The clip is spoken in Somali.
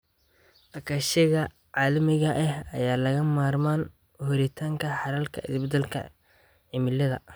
Iskaashiga caalamiga ah ayaa lagama maarmaan u ah helitaanka xalalka isbeddelka cimilada.